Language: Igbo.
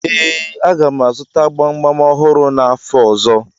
Ee, a ga m azụta gbamgbam ọhụrụ n'afọ ọzọ.